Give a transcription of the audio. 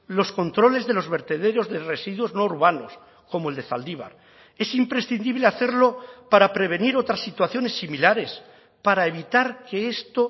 los controles de los vertederos de residuos no urbanos como el de zaldibar es imprescindible hacerlo para prevenir otras situaciones similares para evitar que esto